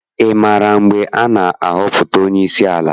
Ị maara mgbe a ga-ahọpụta onyeisi ala?